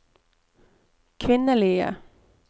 kvinnelige